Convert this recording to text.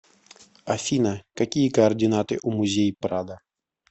афина какие координаты у музей прадо